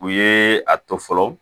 U ye a to fɔlɔ